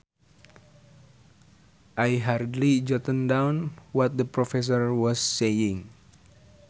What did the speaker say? I hurriedly jotted down what the professor was saying